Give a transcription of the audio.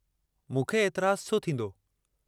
मूंखे एतराजु छो थींदो?